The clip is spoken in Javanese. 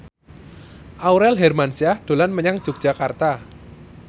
Aurel Hermansyah dolan menyang Yogyakarta